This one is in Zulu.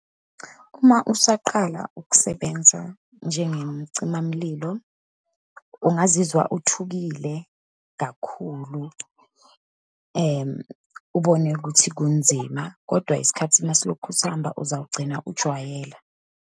Uma usaqala ukusebenza njengemcimamlilo, ungazizwa uthukile kakhulu, ubone ukuthi kunzima, kodwa isikhathi uma silokhu sihamba, uzawugcina ujwayele.